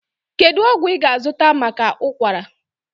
Kedu ọgwụ ị ga-azụta maka ụkwara?